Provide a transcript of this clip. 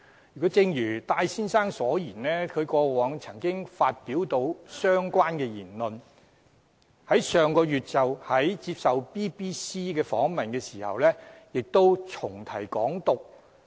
可是，正如戴先生所說，他過往亦曾發表相關言論，在上月接受 BBC 訪問時亦再重提"港獨"。